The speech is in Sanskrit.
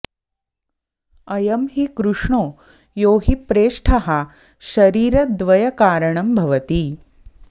अयं हि कृष्णो यो हि प्रेष्ठः शरीरद्वयकारणं भवति